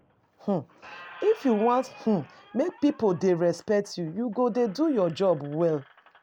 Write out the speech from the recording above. um If you wan um make pipo dey respect you, you go dey do your job well.